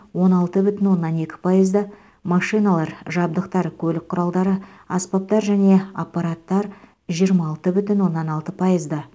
он алты бүтін оннан екі пайызды машиналар жабдықтар көлік құралдары аспаптар және аппараттар жиырма алты бүтін оннан алты пайызды